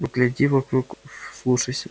погляди вокруг вслушайся